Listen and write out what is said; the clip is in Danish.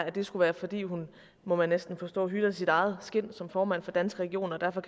at det skulle være fordi hun må man næsten forstå hytter sit eget skind som formand for danske regioner og derfor